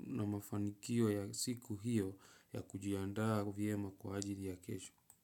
na mafanikio ya siku hiyo ya kujiandaa vyema kwa ajili ya kesho.